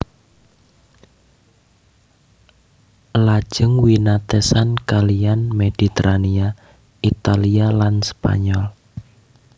Lajeng winatesan kaliyan Mediterania Italia lan Spanyol